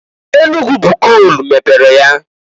Enugu bụ koolu mepere ya.